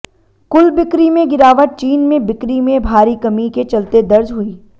कुल बिक्री में गिरावट चीन में बिक्री में भारी कमी के चलते दर्ज हुई